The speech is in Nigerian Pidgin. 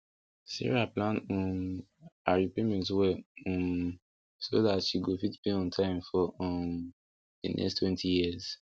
sarah plan um her repayment well um so that she go fit pay on time for um the next twenty years